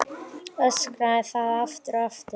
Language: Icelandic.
Öskraði það aftur og aftur.